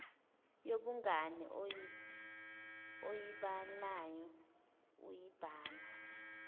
yobungani oyibhalayo uyibhala